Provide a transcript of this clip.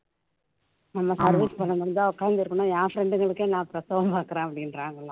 நம்ம service பண்ணணும்னு தான் உக்காந்துருக்கணும் என் friend களுக்கே நான் பிரசவம் பாக்குறேன் அப்படின்றாங்களாம்